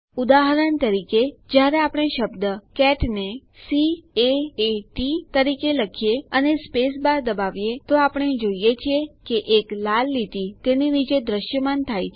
ઉદાહરણ તરીકે જયારે આપણે શબ્દ કેટ ને સી A એ T તરીકે લખીએ અને સ્પેસ બાર દબાવીએ છીએ તો આપણે જોઈએ છીએ કે એક લાલ લીટી તેની નીચે દ્રશ્યમાન થાય છે